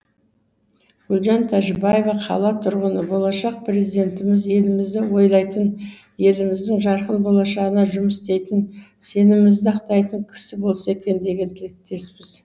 гүлжан тәжібаева қала тұрғыны болашақ президентіміз елімізді ойлайтын еліміздің жарқын болашағына жұмыс істейтін сенімімізді ақтайтын кісі болса екен деген тілектеспіз